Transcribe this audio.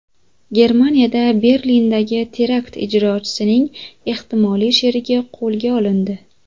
Germaniyada Berlindagi terakt ijrochisining ehtimoliy sherigi qo‘lga olindi.